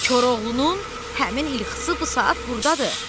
Koroğlunun həmin ilxısı bu saat burdadır.